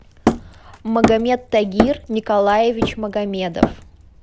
магомет тагир николаевич магомедов